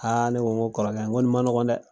Aaai ne ko kɔrɔkɛ, n ko nin ma nɔgɔn dɛ